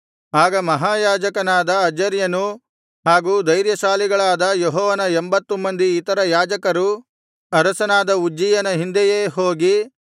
ಆಗ ಮಹಾಯಾಜಕನಾದ ಅಜರ್ಯನೂ ಹಾಗು ಧೈರ್ಯಶಾಲಿಗಳಾದ ಯೆಹೋವನ ಎಂಭತ್ತು ಮಂದಿ ಇತರ ಯಾಜಕರೂ ಅರಸನಾದ ಉಜ್ಜೀಯನ ಹಿಂದೆಯೇ ಹೋಗಿ